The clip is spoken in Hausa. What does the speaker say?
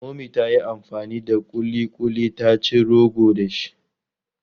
Mummy ta yi amfani da ƙuliƙuli ta ci rogo dashi.